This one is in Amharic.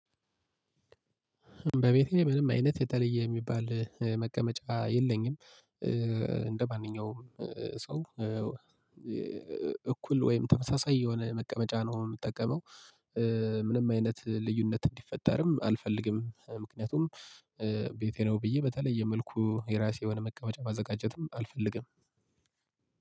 በቤቴ ምንም አይነት የተለየ የሚባል መቀመጫ የለኝም። እንደማንኛውም ሰው እኩል ወይም ተመሳሳይ የሆነ መቀመጫ ነው የምጠቀመው። ምንም አይነት ልዩነት እንዲፈጠርም አልፈልግም። ምክንያቱም ቤቴ ነው ብዬ በተለይ የመልኩ የራሴ የሆነ መቀመጫ ማዘጋጀትም አልፈልግም።